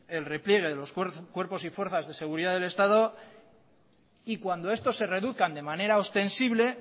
el repliegue de los cuerpos y fuerzas de seguridad del estado y cuando estos se reduzcan de manera ostensible